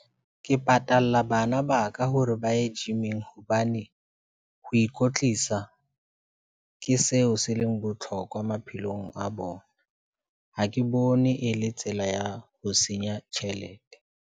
Ke patalla bana ba ka hore ba ye gym-ing hobane ho ikwetlisa ke seo se leng botlhokwa maphelong a bona. Ha ke bone e le tsela ya ho senya tjhelete.